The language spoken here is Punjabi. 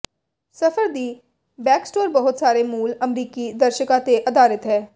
ਸਫ਼ਰ ਦੀ ਬੈਕਸਟੋਰ ਬਹੁਤ ਸਾਰੇ ਮੂਲ ਅਮਰੀਕੀ ਦਰਸ਼ਕਾਂ ਤੇ ਆਧਾਰਿਤ ਹੈ